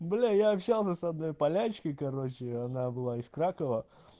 бля я общался с одной полячкой короче она была из кракова